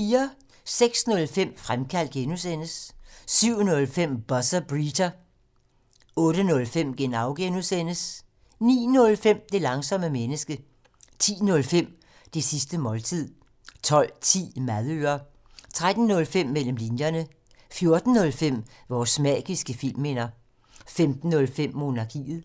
06:05: Fremkaldt (G) 07:05: Buzzer Beater 08:05: Genau (G) 09:05: Det langsomme menneske 10:05: Det sidste måltid 12:10: Madøre 13:05: Mellem linjerne 14:05: Vores magiske filmminder 15:05: Monarkiet